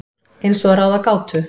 Eins og að ráða gátu.